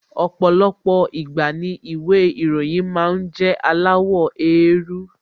Ọ̀pọ̀lọpọ̀ ìgbà ni ìwé ìròyìn máa ń jẹ́ aláwọ̀ éérú